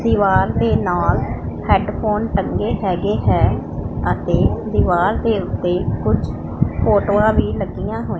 ਦੀਵਾਰ ਦੇ ਨਾਲ ਹੈਡਫੋਨ ਟੰਗੇ ਹੈਗੇ ਹੈ ਅਤੇ ਦੀਵਾਰ ਦੇ ਉੱਤੇ ਕੁਝ ਫੋਟੋਆਂ ਵੀ ਲੱਗੀਆਂ ਹੋਈਆਂ--